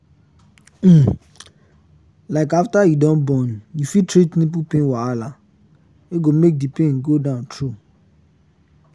um like after you don born you fit treat nipple pain wahala wey go make the pain go down true